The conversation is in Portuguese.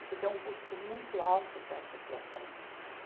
Isso tem um custo muito alto para a associação.